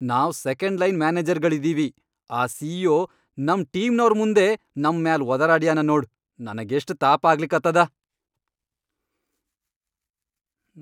ನಾವ್ second line ಮ್ಯಾನೇಜರ್ಗಳಿದ್ದೀವಿ, ಆ ಸಿ.ಇ.ಓ. ನಮ್ ಟೀಮ್ನವ್ರ್ ಮುಂದೇ ನಮ್ ಮ್ಯಾಲ್ ವದರಾಡ್ಯಾನ ನೋಡ್, ನನಗೆಷ್ಟ್ ತಾಪ್ ಆಗ್ಲಿಕತ್ತದ.